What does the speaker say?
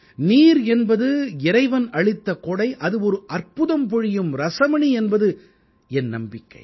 நீர் என்பது இறைவன் அளித்த கொடை அது ஒரு அற்புதம் பொழியும் ரஸமணி என்பது என் நம்பிக்கை